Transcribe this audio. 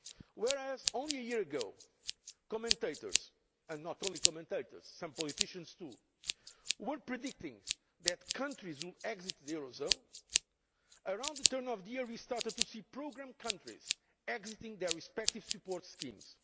Whereas only a year ago commentators and not only commentators but some politicians too were predicting that countries would exit the euro area, around the turn of the year we started to see programme countries exiting their respective support schemes.